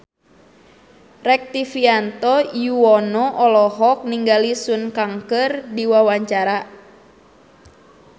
Rektivianto Yoewono olohok ningali Sun Kang keur diwawancara